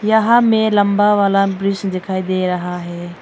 यहां में लंबा वाला ब्रिज दिखाई दे रहा हैं।